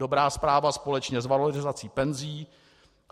Dobrá zpráva společně s valorizací penzí.